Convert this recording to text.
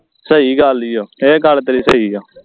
ਸਹੀ ਗੱਲ ਏ ਓ ਇਹ ਗੱਲ ਤੇਰੀ ਸਹੀ ਓ